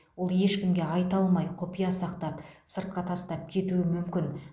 ол ешкімге айта алмай құпия сақтап сыртқа тастап кетуі мүмкін